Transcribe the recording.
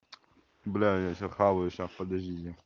бля я сейчас хаваю сейчас подождите